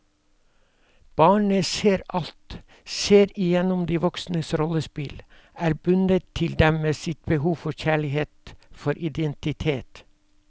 Barnet ser alt, ser igjennom de voksnes rollespill, er bundet til dem med sitt behov for kjærlighet, for identitet.